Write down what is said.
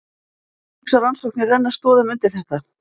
Ýmsar rannsóknir renna stoðum undir þetta.